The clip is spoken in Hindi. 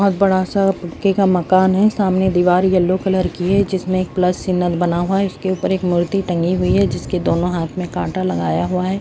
बहुत बड़ा सा पक्के का मकान है सामने दीवार येलो कलर की है जिसमें एक प्लस सिग्नल बना हुआ है उसके ऊपर एक मूर्ति टंगी हुई है जिसके दोनों हाथ में काटा लगाया हुआ है।